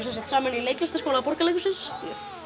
semsagt saman í leiklistarskóla Borgarleikhússins